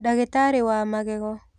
Ndagitarĩ wa magego.